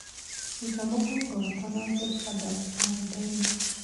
ruta mũbango wakwa na George Adams karenda-inĩ